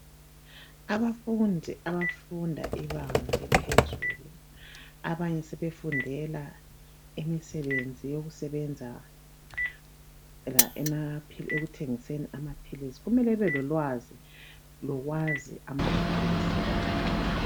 Abafundi abafunda ibanga eliphezulu abanye sebefundela imisebenzi yokusebenza ekuthengiseni amaphilisi kumele ebe lolwazi lokwazi amaphilisi.